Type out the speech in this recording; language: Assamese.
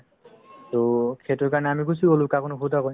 to সেইটোৰ কাৰণে আমি গুচি গ'লো কাকো নুসুধাকৈ